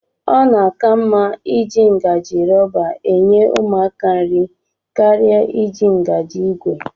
Ọ na-aka mma iji ngajị rọba enye ụmụaka nri karịa iji ngaji ìgwè